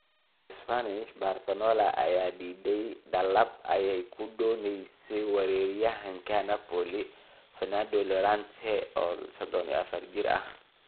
(ESPN) Barcelona ayaa diiday dalab ay ku doonaysay weeraryahanka Napoli Fernando Llorente, oo 34 jir ah.